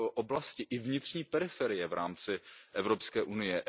oblasti i vnitřní periferie v rámci Evropské unie.